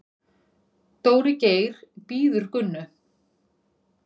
Dóri Geir bíður Gunnu.